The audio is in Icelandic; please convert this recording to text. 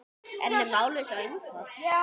En er málið svo einfalt?